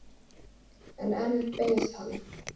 En enn beið hann.